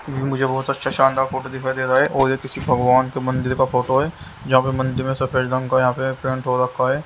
मुझे बहुत अच्छा शानदार फोटो दिखाई दे रहा है और ये किसी भगवान के मंदिर का फोटो है जहाँ पर मंदिर में सफेद रंग का यहाँ पे पेंट हो रखा है।